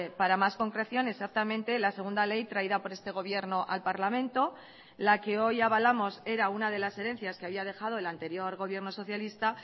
para más concreción exactamente la segunda ley traída por este gobierno al parlamento la que hoy avalamos era una de las herencias que había dejado el anterior gobierno socialista